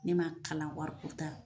Ne m'a kalan wariko ta